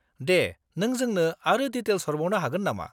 दे, नों जोंनो आरो डिटेल्स हरबावनो हागोन नामा?